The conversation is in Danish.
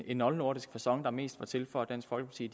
en oldnordisk facon der mest var til for at dansk folkeparti